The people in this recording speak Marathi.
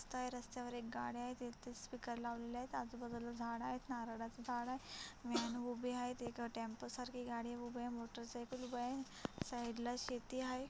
रास्ता आहे रस्त्यावर गाडी उभी आहे. तेथे स्पीकर लावलेले आहेआजूबाजूला झाड आहे नारळाचं झाड आहे. वॅन उभी आहे तिथं टेम्पो सारखी गाडी उठी आहे. साईडला शेती आहे.